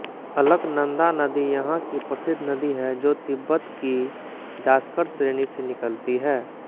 अलकनंदा नदी यहाँ की प्रसिद्ध नदी है जो तिब्बत की जासकर श्रेणी से निकलती है